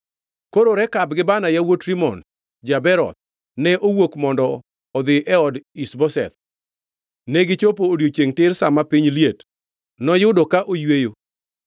Koro Rekab gi Baana, yawuot Rimon ja-Beeroth, ne owuok mondo odhi e od Ish-Boseth, negichopo odiechiengʼ tir sa ma piny liet, noyudo ka oyweyo.